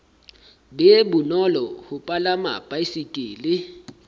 be bonolo ho palama baesekele